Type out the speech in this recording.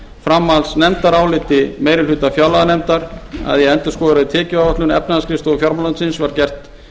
framhaldsnefndaráliti meiri hluta fjárlaganefndar endurskoðaðri tekjuáætlun efnahagsskrifstofu fjármálaráðuneytisins var gert